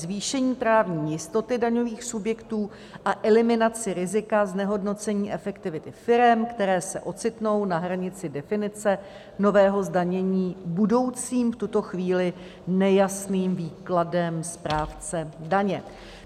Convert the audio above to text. Zvýšení právní jistoty daňových subjektů a eliminaci rizika znehodnocení efektivity firem, které se ocitnou na hranici definice nového zdanění budoucím v tuto chvíli nejasným výkladem správce daně.